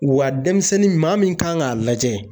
Wa denmisɛnnin maa min kan k'a lajɛ